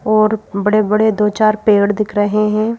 और बड़े-बड़े दो-चार पेड़ दिख रहे हैं।